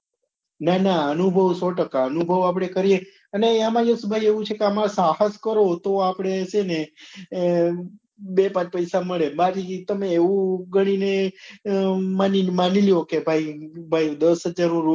ના ના અનુભવ સો ટકા અનુભવ આપડે કરીએ અને એમાય યશભાઈ એવું છે કે આમાં સાહસ કરો તો આપડે છે ને આહ બે પાંચ પૈસા મળે મારી system એવું ગણી ને માની લો કે દસ રૂપિયા નું